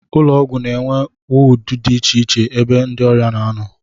Ụlọọgwụ na-enwe wọọdụ dị icheiche ebe ndị ọrịa na-anọ